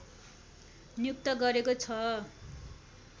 नियुक्त गरेको छ